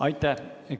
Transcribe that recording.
Aitäh!